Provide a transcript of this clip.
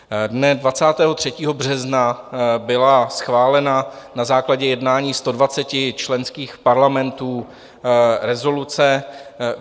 Dne 23. března byla schválena na základě jednání 120 členských parlamentů rezoluce.